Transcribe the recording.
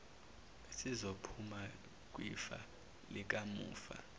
esizophuma kwifa likamufa